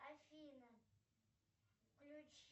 афина включи